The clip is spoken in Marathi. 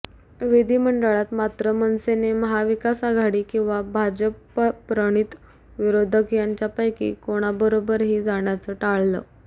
विधिमंडळात मात्र मनसेने महाविकास आघाडी किंवा भाजपप्रणित विरोधक यांच्यापैकी कोणाबरोबरही जाण्याचं टाळलं